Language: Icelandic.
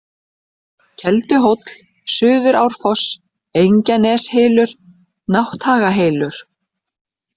Kelduhóll, Suðurárfoss, Engjaneshylur, Nátthagahylur